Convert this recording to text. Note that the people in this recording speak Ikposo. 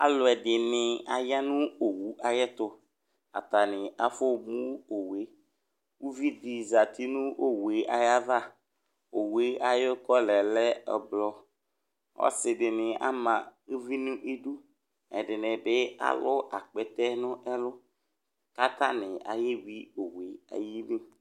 Aaluɛɖini aya nʋ owo ayɛtʋAtani afɔmʋ owuuviɖi zati nʋ owuɛ ayva Owue ayʋ kɔla lɛ ʋblɔAsiɖini ama ʋvi n'iɖʋ, ɛɖinibi alʋ akpɛtɛ nʋ ɛlʋ k'atani ayewui owueli